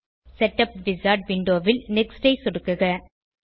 setup wizard விண்டோவில் next ஐ சொடுக்குக